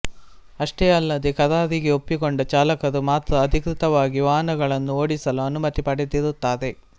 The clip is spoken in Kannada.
ಅಷ್ಟೇ ಅಲ್ಲದೆ ಕರಾರಿಗೆ ಒಪ್ಪಿಕೊಂಡ ಚಾಲಕರು ಮಾತ್ರ ಅಧಿಕೃತವಾಗಿ ವಾಹನಗಳನ್ನು ಓಡಿಸಲು ಅನುಮತಿ ಪಡೆದಿರುತ್ತಾರೆ